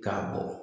K'a bɔ